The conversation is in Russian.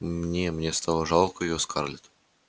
мне мне стало жалко её скарлетт